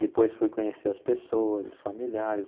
Depois fui conhecer as pessoas, os familiares.